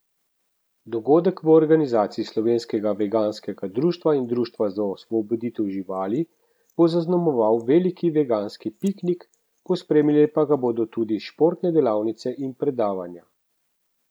Dogodek v organizaciji Slovenskega veganskega društva in Društva za osvoboditev živali bo zaznamoval veliki veganski piknik, pospremile pa ga bodo tudi športne delavnice in predavanja.